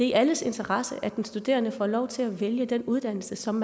i alles interesse at den studerende får lov til at vælge den uddannelse som